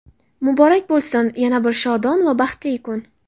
Muborak bo‘lsin yana bir shodon va baxtli kun.